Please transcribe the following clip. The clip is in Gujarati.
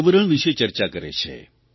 પર્યાવરણ વિષે ચર્ચા કરે છે